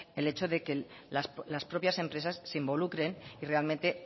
el hecho de que las propias empresas se involucren y realmente